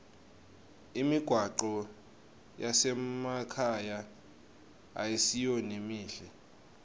imigwaco yasemakhaya ayisiyo lemihle